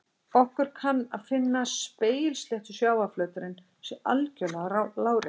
Okkur kann að finnast að spegilsléttur sjávarflöturinn sé algjörlega láréttur.